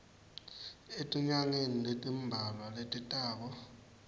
etinyangeni letimbalwa letitako